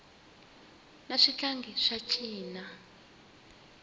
na swihlangi swa cina